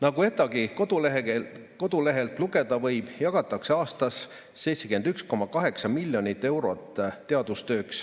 Nagu ETAg-i koduleheküljelt lugeda võib, jagatakse aastas teadustööks 71,8 miljonit eurot.